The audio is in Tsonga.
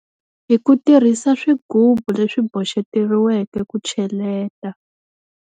Hi ku tirhisa swigubu leswi boxeteriweke ku cheleta.